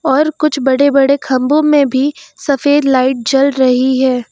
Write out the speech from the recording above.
और कुछ बड़े बड़े खंभों में भी सफेद लाइट जल रही है।